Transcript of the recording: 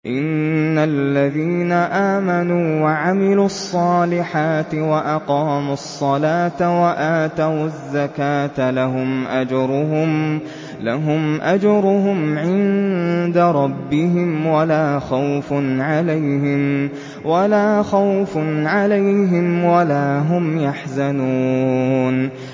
إِنَّ الَّذِينَ آمَنُوا وَعَمِلُوا الصَّالِحَاتِ وَأَقَامُوا الصَّلَاةَ وَآتَوُا الزَّكَاةَ لَهُمْ أَجْرُهُمْ عِندَ رَبِّهِمْ وَلَا خَوْفٌ عَلَيْهِمْ وَلَا هُمْ يَحْزَنُونَ